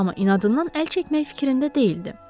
Amma inadından əl çəkmək fikrində deyildi.